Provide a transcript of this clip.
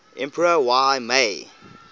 emperor y mei